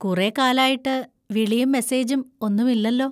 കുറേ കാലായിട്ട് വിളിയും മെസ്സേജും ഒന്നുമില്ലല്ലോ.